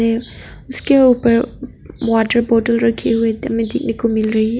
उसके ऊपर water bottle रखी हुई हमें देखने को मिल रही है।